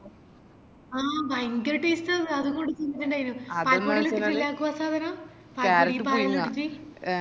ആ ഭയങ്കര taste ആന്ന് പാൽപ്പൊടി എല്ലാ ഇട്ടിറ്റല്ലെ ആക്കുവാ ആ സാധനം